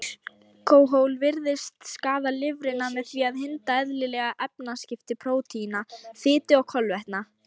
Alkóhól virðist skaða lifrina með því að hindra eðlileg efnaskipti prótína, fitu og kolvetna.